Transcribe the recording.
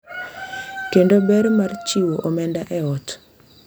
Kendo ber mar chiwo omenda e ot.